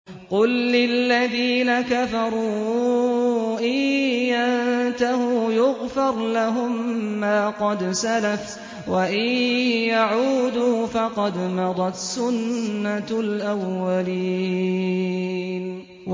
قُل لِّلَّذِينَ كَفَرُوا إِن يَنتَهُوا يُغْفَرْ لَهُم مَّا قَدْ سَلَفَ وَإِن يَعُودُوا فَقَدْ مَضَتْ سُنَّتُ الْأَوَّلِينَ